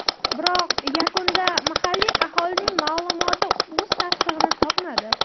Biroq yakunda mahalliy aholining ma’lumoti o‘z tasdig‘ini topmadi.